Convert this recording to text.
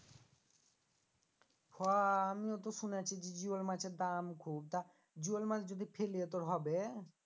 হো আমিও তো শুনেছি যে জিওল মাছের দাম খুব তা জিওল মাছ যদি ফেলি তোর হবে?